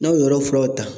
N'a y'o yɔrɔ furaw ta